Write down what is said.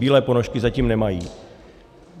Bílé ponožky zatím nemají.